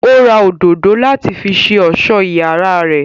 Ó ra òdòdó láti fi ṣe ọ̀sọ́ iyàrá rè.